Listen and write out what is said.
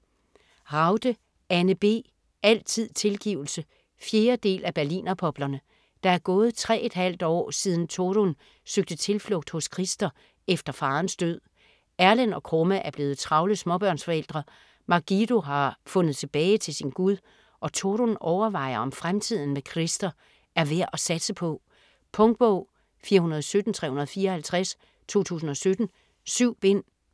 Ragde, Anne B.: Altid tilgivelse 4. del af Berlinerpoplerne. Der er gået tre et halvt år siden Torunn søgte tilflugt hos Christer efter farens død. Erlend og Krumme er blevet travle småbørnsforældre, Margido har fundet tilbage til sin Gud og Torunn overvejer om fremtiden med Christer er værd at satse på. Punktbog 417354 2017. 7 bind.